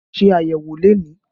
Ṣé ayẹwo lónìí!